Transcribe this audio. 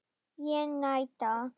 Ég neita.